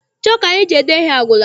Chọku anyị ji ede ihe agwụla.